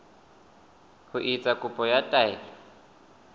ho etsa kopo ya taelo